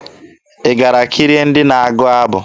Ị gara kirie ndị na-agụ abụ?